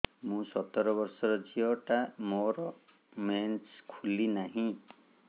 ମୁ ସତର ବର୍ଷର ଝିଅ ଟା ମୋର ମେନ୍ସେସ ଖୁଲି ନାହିଁ